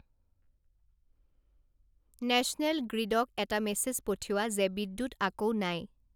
national গ্ৰিডক এটা message পঠিওৱা যে বিদ্যুৎ আকৌ নাই